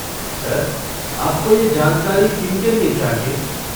Sir, आपको ये जानकारी किन के लिए चाहिए?